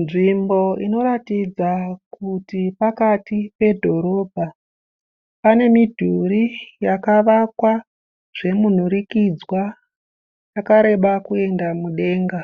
Nzvimbo inoratidza kuti pakati pedhorobha. Pane midhuri yakavakwa zvemunhurikidzwa yakareba kuenda mudenga.